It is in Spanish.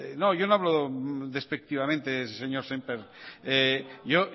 no yo no hablo despectivamente de eso señor semper yo